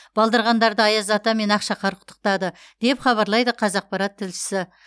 балдырғандарды аяз ата мен ақшақар құттықтады деп хабарлайды қазақпарат тілшісі